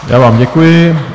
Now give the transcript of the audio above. Já vám děkuji.